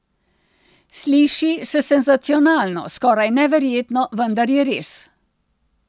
Sliši se senzacionalno, skoraj neverjetno, vendar je res.